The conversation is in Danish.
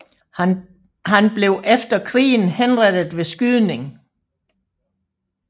Han blev efter krigen henrettet ved skydning